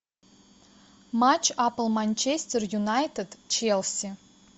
матч апл манчестер юнайтед челси